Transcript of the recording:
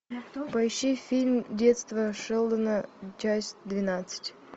поищи фильм детство шелдона часть двенадцать